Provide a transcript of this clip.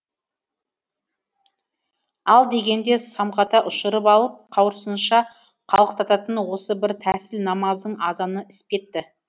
ал дегенде самғата ұшырып алып қауырсынша қалықтататын осы бір тәсіл намаздың азаны іспетті